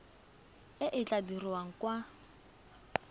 e e tla dirwang kwa